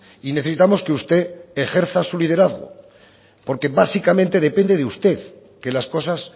y necesitamos que usted ejerza su liderazgo porque básicamente depende de usted que las cosas